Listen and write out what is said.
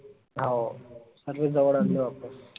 हाओ सगळे जवड आनले वापस